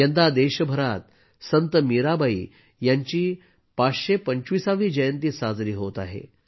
यंदा देशभरात संत मीराबाई यांची 525 वी जयंती साजरी होत आहे